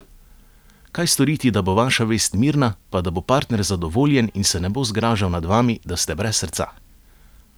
Kaj storiti, da bo vaša vest mirna, pa da bo partner zadovoljen in se ne bo zgražal nad vami, da ste brez srca?